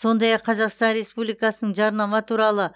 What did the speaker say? сондай ақ қазақстан республикасының жарнама туралы